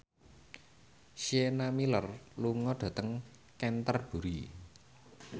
Sienna Miller lunga dhateng Canterbury